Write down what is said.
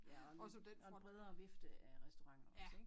Ja og ny og en bredere vifte af restauranter også ik?